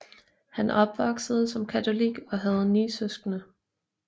Han opvoksede som katolik og havde ni søskende